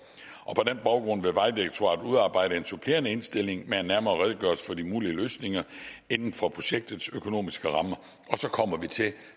og på den baggrund vil vejdirektoratet udarbejde en supplerende indstilling med en nærmere redegørelse for de mulige løsninger inden for projektets økonomiske rammer og så kommer vi